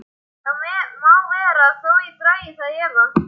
Það má vera þó ég dragi það í efa.